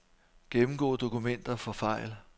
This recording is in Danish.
Gennemgå dokumenter for fejl.